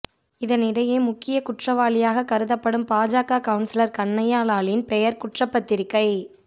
இதனிடையே முக்கியக் குற்றவாளியாக கருதப்படும் பாஜக கவுன்சிலர் கன்னையா லாலின் பெயர் குற்றப்பத்திரிகை